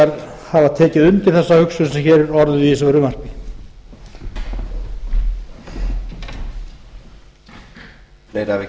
launþegar hafa tekið undir þessa hugsun sem hér er orðuð í þessu fruvmarpi